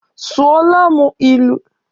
Sụọla mụ ilu!